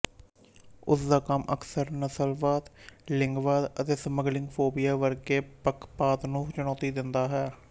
ਉਸਦਾ ਕੰਮ ਅਕਸਰ ਨਸਲਵਾਦ ਲਿੰਗਵਾਦ ਅਤੇ ਸਮਲਿੰਗੀ ਫੋਬੀਆ ਵਰਗੇ ਪੱਖਪਾਤ ਨੂੰ ਚੁਣੌਤੀ ਦਿੰਦਾ ਹੈ